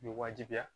Bɛ wajibiya